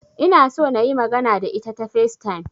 Ina so nayi magana da ita ta Facetime